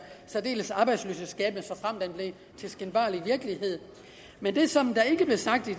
særdeles arbejdsløshedsskabende såfremt den blev til skinbarlig virkelighed men det som der ikke blev sagt i